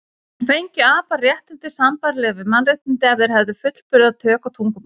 En fengju apar réttindi sambærileg við mannréttindi ef þeir hefðu fullburða tök á tungumáli?